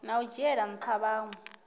na u dzhiela ntha vhanwe